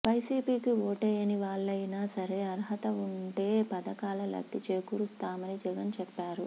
వైసీపీకి ఓట్లేయని వాళ్లయినా సరే అర్హత ఉంటే పథకాల లబ్ది చేకూరుస్తామని జగన్ చెప్పారు